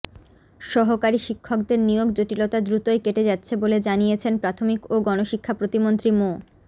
সহকারী শিক্ষকদের নিয়োগ জটিলতা দ্রুতই কেটে যাচ্ছে বলে জানিয়েছেন প্রাথমিক ও গণশিক্ষা প্রতিমন্ত্রী মো